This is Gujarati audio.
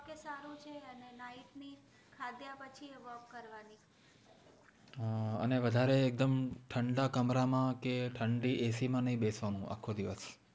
હા વધારે એક દમ ઠંડા કમરામાં કે ઠંડી ac માં નહિ બેસવાનું આખો દિવસ